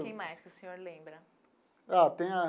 Quem mais que o senhor lembra? Ah tem a.